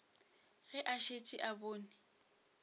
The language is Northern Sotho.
ge a šetše a bone